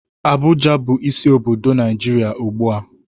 Abuja bu isi obodo Naijiria ugbua.